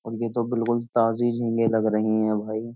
और ये तो बिल्कुल ताजी झींगे लग रही हैं भाई।